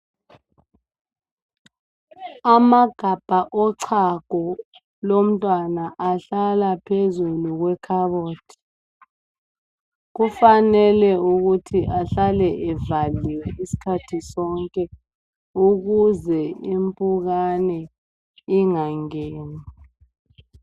Amagabha ochago lomntwana ahlala phezulu kwekhabothi. Kufanele ukuthi ahlale evaliwe isikhathi sonke ukuze impukane ingangeni.